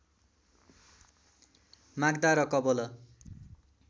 माग्दा र कवोल